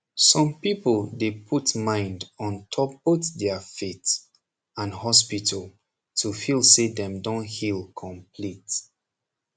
som people dey puut mind ontop both dia faith and hospital to feel say dem don heal complete